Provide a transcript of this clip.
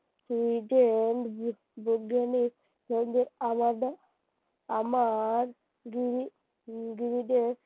বিজ্ঞানের সঙ্গে আমাদের আমার দুই